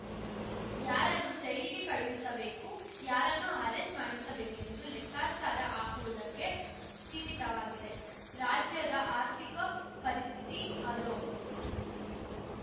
ಯಾರನ್ನು ಜೈಲಿಗೆ ಕಳುಹಿಸಬೇಕು ಯಾರನ್ನು ಆರೆಸ್ಟ್‌ ಮಾಡಿಸಬೇಕೆಂದು ಲೆಕ್ಕಾಚಾರ ಹಾಕುವುದಕ್ಕೆ ಸೀಮಿತವಾಗಿದೆ ರಾಜ್ಯದ ಆರ್ಥಿಕ ಪರಿಸ್ಥಿತಿ ಆಧೋ